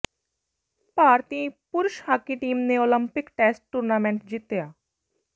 ਭਾਰਤੀ ਪੁਰਸ਼ hockey team ਨੇ Olympic test tournament ਜਿਤਿਆ